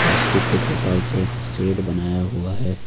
Plastic के त्रिपाल से शेड बनाया हुआ है।